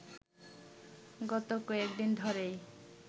গত কয়েকদিন ধরেই